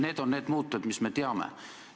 Need on need muutujad, mida me teame.